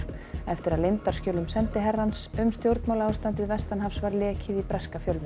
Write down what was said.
eftir að leyndarskjölum sendiherrans um stjórnmálaástandið vestanhafs var lekið í breska fjölmiðla